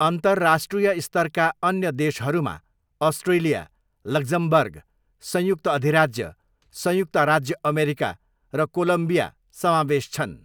अन्तर्राष्ट्रिय स्तरका अन्य देशहरूमा अस्ट्रेलिया, लक्जमबर्ग, संयुक्त अधिराज्य, संयुक्त राज्य अमेरिका र कोलम्बिया समावेश छन्।